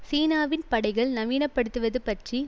சீனாவின் படைகள் நவீன படுத்துவது பற்றி